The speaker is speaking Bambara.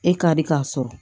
E ka di k'a sɔrɔ